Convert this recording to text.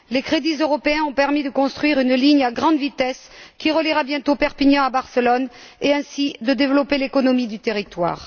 Les crédits européens ont permis de construire une ligne à grande vitesse, qui reliera bientôt Perpignan à Barcelone, et ainsi de développer l'économie du territoire.